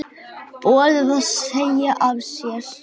Boðið að segja af sér?